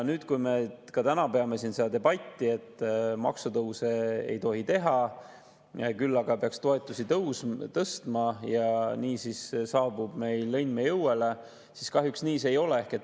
Me peame täna siin debatti, et maksutõuse ei tohi teha, küll aga peaks toetusi tõstma ja nii saabub õnn meie õuele – kahjuks nii see ei ole.